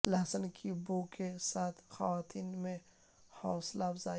لہسن کی بو کے ساتھ خواتین میں حوصلہ افزائی